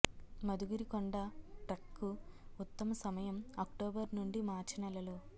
మధుగిరి కొండ ట్రెక్ కు ఉత్తమ సమయం అక్టోబర్ నుండి మార్చి నెలలు